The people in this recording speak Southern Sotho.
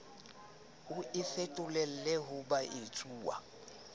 o e fetolele ho boetsuwa